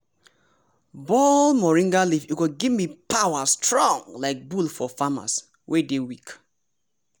boil moringa leaf e go gimme power strong like bull for farmers wey dey weak.